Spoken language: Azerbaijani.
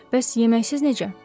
Bəs yeməksiz necə?